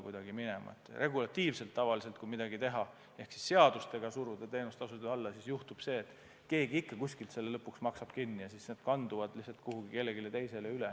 Kui seda teha regulatiivselt, siis tavaliselt on nii, et kui seadustega suruda teenustasud alla, siis keegi ikka maksab selle lõpuks kinni, see kandub lihtsalt kuhugi kellelegi teisele üle.